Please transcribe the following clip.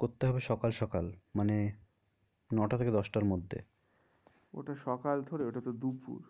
করতে হবে সকাল সকাল মানে ন টা থেকে দশটার মধ্যে ওটা সকাল থোরি ওটা তো দুপুর